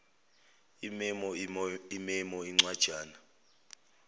imemo imemo incwajana